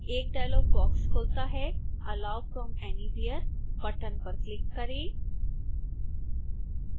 एक dialog box खुलता है allow from anywhere बटन पर क्लिक करें